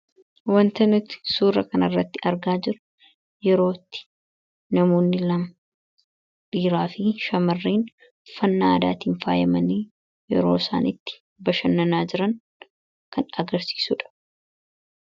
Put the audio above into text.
Wanta nuti suura kana irratti argaa jirru yerootti namoonni lama dhiiraa fi shamarren uffannaa aadaatiin faayamanii yeroo isaan itti bashannanaa jiran kan agarsiisuudha